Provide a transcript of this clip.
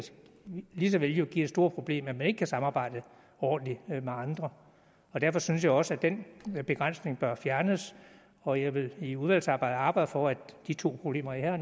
jo lige så vel give store problemer at man ikke kan samarbejde ordentligt med andre derfor synes jeg også at den begrænsning bør fjernes og jeg vil i udvalgsarbejdet arbejde for at de to problemer jeg